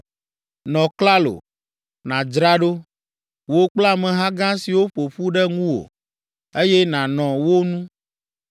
“Nɔ klalo, nàdzra ɖo, wò kple ameha gã siwo ƒo ƒu ɖe ŋuwò, eye nànɔ wo nu.